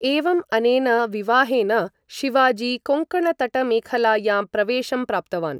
एवम् अनेन विवाहेन शिवजी कोङ्कणतटमेखलायाम् प्रवेशं प्राप्तवान्।